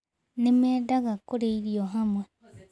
Nĩ mendaga kũrĩa irio hamwe.